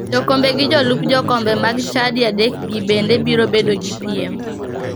Jokombe gi jolup jokombe mag chadi adekgi bende biro bedo gi piem.